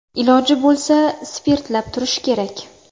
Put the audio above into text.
Iloji bo‘lsa, spirtlab turish kerak.